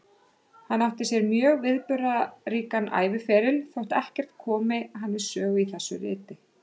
Hann átti sér mjög viðburðaríkan æviferil, þótt ekkert komi hann við sögu í þessu riti.